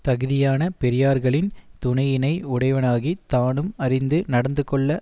தகுதியான பெரியார்களின் துணையினை உடையவனாகி தானும் அறிந்து நடந்துகொள்ள